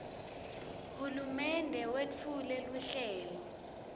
hulumende wetfule luhlelo